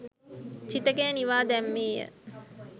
චිතකය නිවා දැම්මේ ය.